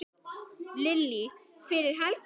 Lillý: Fyrir helgina?